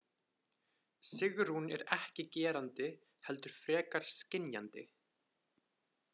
Sigrún er ekki gerandi heldur frekar skynjandi.